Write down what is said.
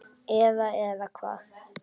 Eða, eða hvað?